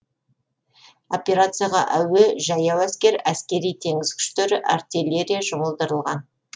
операцияға әуе жаяу әскер әскери теңіз күштері артиллерия жұмылдырылған